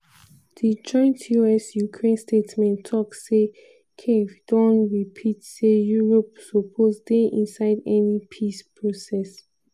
di joint us-ukraine statement tok say kyiv don repeat say europe suppose dey inside any peace process.